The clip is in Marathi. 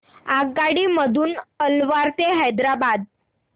आगगाडी मधून अलवार ते हैदराबाद